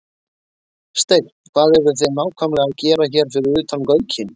Steinn, hvað eruð þið nákvæmlega að gera hérna fyrir utan Gaukinn?